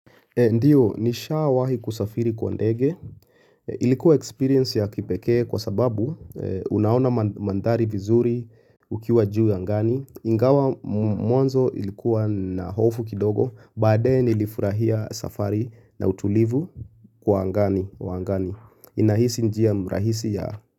Ndio, nishawahi kusafiri kwa ndege. Ilikuwa experience ya kipekee kwa sababu unaona mandhari vizuri ukiwa juu angani. Ingawa mwanzo ilikuwa na hofu kidogo, baadaye nilifurahia safari na utulivu wa angani. Inahisi njia mrahisi ya.